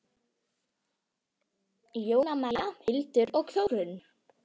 Jóna Maja, Hildur og Þórunn.